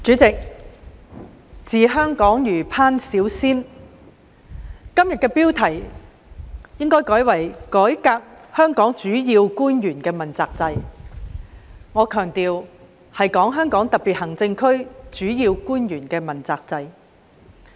主席，"治香港若烹小鮮"，今天這項議案的標題應改為"改革香港主要官員問責制"，我強調是指香港特別行政區的主要官員問責制。